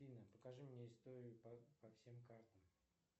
афина покажи мне историю по всем картам